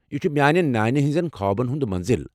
یہ چھ میانہ نانہ ہِنٛز خوابن ہنٛز منزل۔